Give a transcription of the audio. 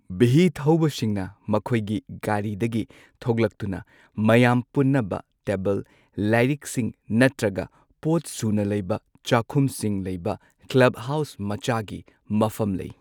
V ꯊꯧꯕꯁꯤꯡꯅ ꯃꯈꯣꯏꯒꯤ ꯒꯥꯔꯤꯗꯒꯤ ꯊꯣꯛꯂꯛꯇꯨꯅ ꯃꯌꯥꯝ ꯄꯨꯟꯅꯕ ꯇꯦꯕꯜ, ꯂꯥꯏꯔꯤꯛꯁꯤꯡ ꯅꯠꯇ꯭ꯔꯒ ꯄꯣꯠ ꯁꯨꯅ ꯂꯩꯕ ꯆꯥꯛꯈꯨꯝꯁꯤꯡ ꯂꯩꯕ ꯀ꯭ꯂꯕꯍꯥꯎꯁ ꯃꯆꯥꯒꯤ ꯃꯐꯝ ꯂꯩ꯫